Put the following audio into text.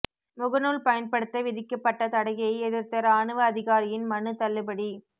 முகநூல் பயன்படுத்த விதிக்கப்பட்ட தடையை எதிா்த்த ராணுவ அதிகாரியின் மனு தள்ளுபடி